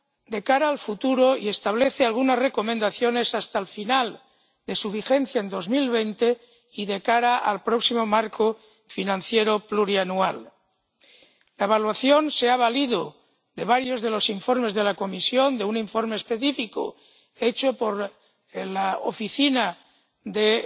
de cara al futuro y establece algunas recomendaciones hasta el final de su vigencia en 2020 y de cara al próximo marco financiero plurianual. La evaluación se ha valido de varios de los informes de la Comisión, de un informe específico elaborado por el Servicio de